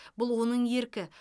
бұл оның еркі